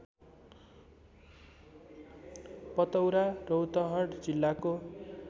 पतौरा रौतहट जिल्लाको